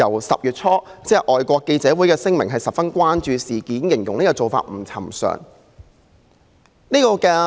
10月初，外國記者會發表聲明，表示十分關注事件，並形容政府做法不尋常。